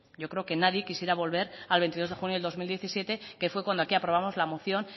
yo creo que nadie quisiera volver al veintidós de junio del dos mil diecisiete que fue cuando aquí aprobamos la moción